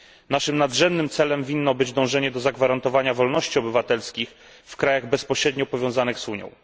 Naszym nadrzędnym celem powinno być dążenie do zagwarantowania wolności obywatelskich w krajach bezpośrednio powiązanych z Unią.